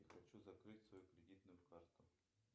хочу закрыть свою кредитную карту